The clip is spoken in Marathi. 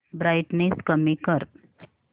ब्राईटनेस कमी कर